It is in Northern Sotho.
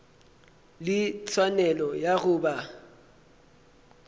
le tshwanelo ya go ba